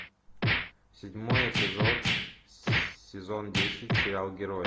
седьмой эпизод сезон десять сериал герои